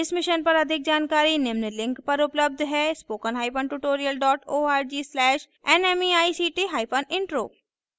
इस mission पर अधिक जानकारी निम्न लिंक पर उपलब्ध है spokentutorial org/nmeictintro